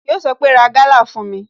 Yọ sọ pé "Ra Gala fún mi"